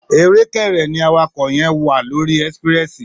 Èré kẹrẹ ni àwàkọ yẹn wà lòrí ẹsipirẹsi